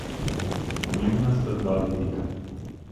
Pomembna sta dva vidika.